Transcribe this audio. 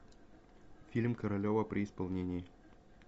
фильм королева при исполнении